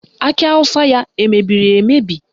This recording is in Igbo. Akị awụsa ya emebiri emebi?